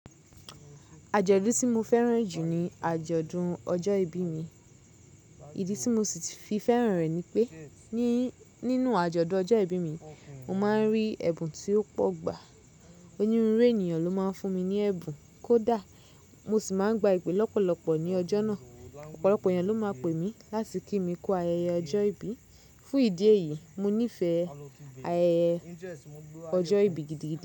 Àjọ̀dún tí mo fẹ́ràn jù ní àjọ̀dún ọjọ́ ìbí mi. Ìdí tí mo sì fi fẹ́ràn rẹ̀ ni pé ní, nínú àjọ̀dún ọjọ́ ìbí mi, mo máa ń rí ẹ̀bùn tí ó pọ̀ gbà. Onírúurú ènìyàn ló máa ń fún mi ní ẹ̀bùn kó dá. Mo sì máa ń gba ìpè lọ́pọ̀lọpọ̀ ní ọjọ́ náà. Ọ̀pọ̀lọpọ̀ èyàn ló máa pè mí láti kí mi kú ayẹyẹ ọjọ́ ìbí. Fún ìdí èyí, mo nífẹ̀ẹ́ ayẹyẹ ọjọ́ ìbí gidi gidi.